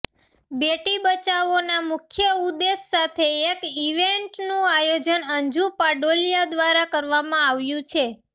બેટી બચાવોના મુખ્ય ઉદેશ સાથે એક ઇવેન્ટનું આયોજન અંજુ પાડોલીયા દ્વારા કરવામાં આવ્યું છે